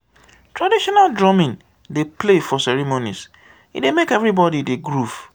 traditional drumming dey play for ceremonies e dey make everybody dey groove.